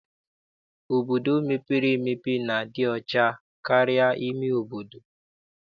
Obodo mepere emepe na-adị ọcha karịa ime obodo.